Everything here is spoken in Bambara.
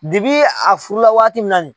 Dibi a furu la waati min na nin.